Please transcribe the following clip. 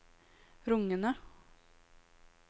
rungende